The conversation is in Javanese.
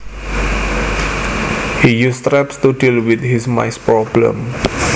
He uses traps to deal with his mice problem